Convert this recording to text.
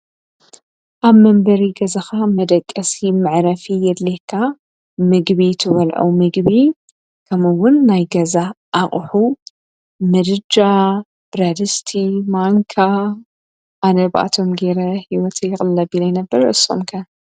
ኣብ መንበሪ ገዛኻ መደቀሲ መዕረፊ የድልየካ፡፡ ምግቢ ትበልዖ ምግቢ ከምኡውን ናይ ገዛ ኣቕሑ ምድጃ ፣ብረት ድስቲ፣ ማንካ፣ ኣነ ብኣኣቶም ገይረ ኣቕልል ኣቢለ ኢየ ዝነብር፡፡ ንሶም ከ?